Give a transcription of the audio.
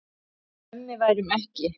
Mummi værum ekki.